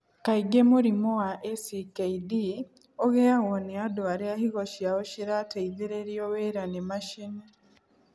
Kaingĩ mũrimũ wa ACKD ũgĩagwo nĩ andũ arĩa higo ciao cĩrateithĩrĩrio wĩra nĩ macini.